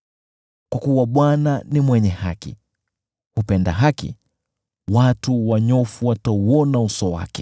Kwa kuwa Bwana ni mwenye haki, yeye hupenda haki. Wanyofu watauona uso wake.